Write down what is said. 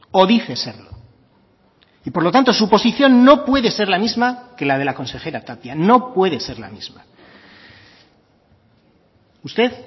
o dice serlo y por lo tanto su posición no puede ser la misma que la de la consejera tapia no puede ser la misma usted